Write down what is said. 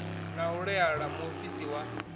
na u laela muofisi wa